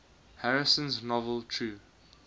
harrison's novel true